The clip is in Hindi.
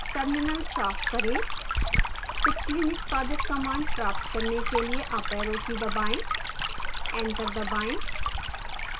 terminal साफ करें पिछली निष्पादित command प्राप्त करने के लिए अप arrow की दबाएं एंटर दबाएं